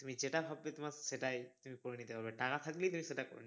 তুমি যেটা ভাববে তোমার সেটাই তুমি করে নিতে পারবে টাকা থাকলেই তুমি সেটা